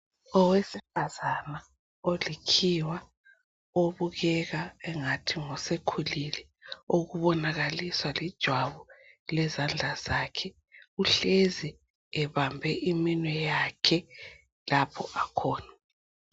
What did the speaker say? Owesifazana olikhiwa obukeka engathi usekhulile okubonakaliswa lijwabu lezandla zakhe uhlezi ebambe iminwe yakhe lapho akhona.